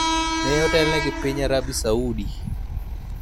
ne otelne gi piny Arabi Saudi.